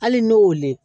Hali n'o le ye